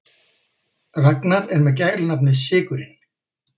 Ragnar er með gælunafnið sykurinn.